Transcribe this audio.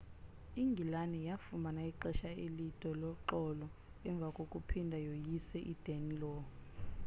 ingilane yafumana ixesha elide loxolo emva kokuphinda yoyise i-danelaw